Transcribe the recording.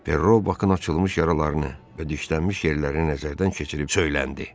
Perro Bakın açılmış yaralarını və dişlənmiş yerlərini nəzərdən keçirib söyləndi.